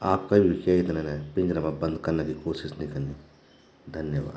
आप कभी भी के थे ने पिंजरा मा बंद कना की कोशिश नी कनी धन्यवाद ।